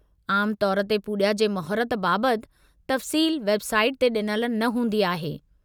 आमु तौर ते पूॼा जे मुहूर्त बाबतु तफ़्सील वेबसाइट ते ॾिनल न हूंदी आहे।